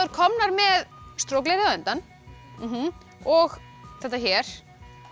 komnar með strokleðrið á endann og þetta hér